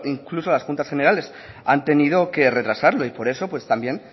incluso las juntas generales han tenido que retrasarlo y por eso también